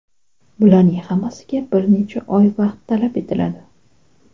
Bularning hammasiga bir necha oy vaqt talab etiladi.